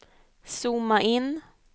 zooma in